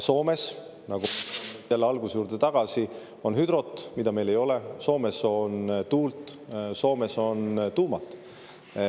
Soomes – lähen jälle alguse juurde tagasi – on hüdrot, mida meil ei ole; Soomes on tuult, Soomes on tuumat.